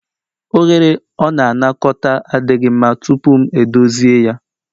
Oghere ọ na-anakọta adịghị mma tupu m edozi ya